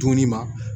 Dumuni ma